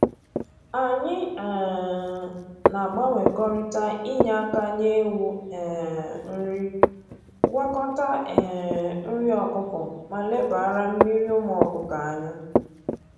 Anyị um na-agbanwekọrịta inye aka nye ewu um nri, gwakọta um nri ọkụkọ ma lebara mmiri ụmụ ọkụkọ anya